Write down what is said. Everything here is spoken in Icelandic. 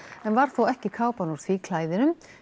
en varð þó ekki kápan úr því klæðinu